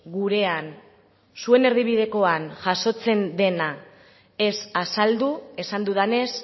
gurean zuen erdibidekoan jasotzen dena ez azaldu esan dudanez